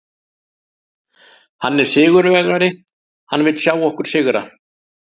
Hann er sigurvegari, hann vill sjá okkur sigra.